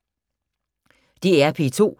DR P2